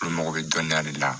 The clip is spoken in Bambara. Olu mago bɛ dɔnniya de la